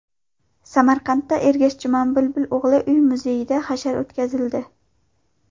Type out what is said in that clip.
Samarqandda Ergash Jumanbulbul o‘g‘li uy-muzeyida hashar o‘tkazildi.